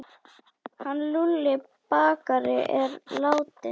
Hann Lúlli bakari er látinn.